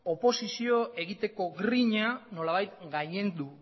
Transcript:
oposizioa egiteko grina nolabait gailendu